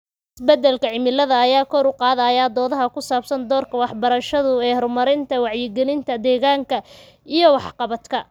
Isbeddelka cimilada ayaa kor u qaadaya doodaha ku saabsan doorka waxbarashadu ee horumarinta wacyigelinta deegaanka iyo waxqabadka.